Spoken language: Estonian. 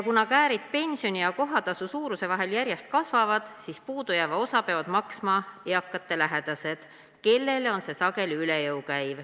Kuna käärid pensioni ja kohatasu suuruse vahel järjest kasvavad, siis puudujääva osa peavad maksma eakate lähedased, kellel see käib sageli üle jõu.